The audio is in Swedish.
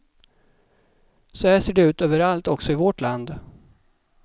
Så här ser det ut överallt också i vårt land.